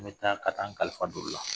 N bɛ taa ka taa an kalifa don u la